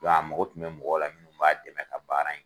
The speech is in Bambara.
Dɔn a mago kun be mɔgɔ la min b'a dɛmɛ ka baara yen kɛ